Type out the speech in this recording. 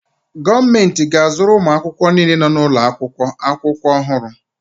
Gọọmentị ga-azụrụ ụmụ akwụkwọ niile nọ n'ụlọakwụkwọ akwụkwọ ọhụrụ.